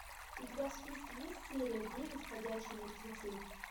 у тебя в списке есть серия девять ходячие мертвецы